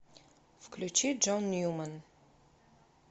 включи джон ньюман